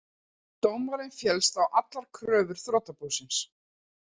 Dómarinn féllst á allar kröfur þrotabúsins